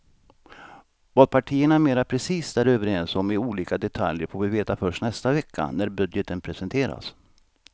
Vad partierna mera precist är överens om i olika detaljer får vi veta först nästa vecka när budgeten presenteras.